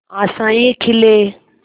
आशाएं खिले